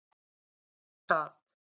Og við það sat.